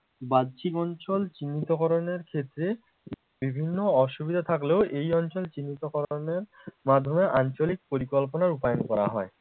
বাহ্যিক অঞ্চল চিহ্নিত করণের ক্ষেত্রে বিভিন্ন অসুবিধা থাকলেও এই অঞ্চল চিহ্নিতকরণের মাধ্যমে আঞ্চলিক পরিকল্পনা রূপায়ণ করা হয়